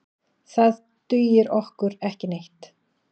Það dugir okkur ekki neitt.